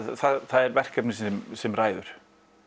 það er verkefnið sem sem ræður